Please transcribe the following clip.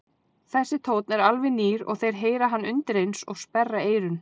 Þessi tónn er alveg nýr og þeir heyra hann undireins og sperra eyrun.